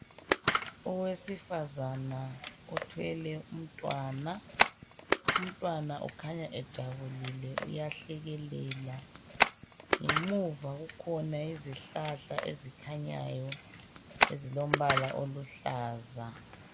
Owesifazane uthwele umntwana. Umntwana ukhanya ejabulile uyahlekelela. Ngemuva kukhona izihlahla ezikhanyayo ezilombala oluhlaza.